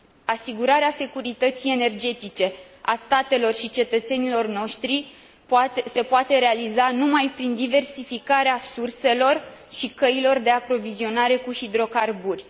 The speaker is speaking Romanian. Asigurarea securității energetice a statelor și a cetățenilor noștri se poate realiza numai prin diversificare surselor și a căilor de aprovizionare cu hidrocarburi.